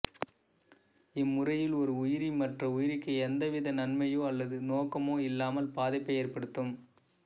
இம்முறையில் ஒரு உயிரி மற்ற உயிரிக்கு எந்த வித நன்மையோ அல்லது நோக்கமோ இல்லாமல் பாதிப்பை ஏற்படுத்தும்